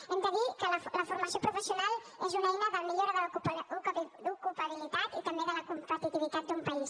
hem de dir que la formació professional és una eina de millora de l’ocupabilitat i també de la competitivitat d’un país